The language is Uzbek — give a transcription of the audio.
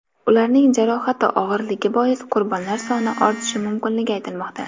Ularning jarohati og‘irligi bois qurbonlar soni ortishi mumkinligi aytilmoqda.